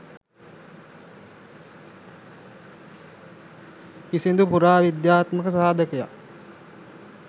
කිසිදු පුරා විද්‍යාත්මක සාධකයක්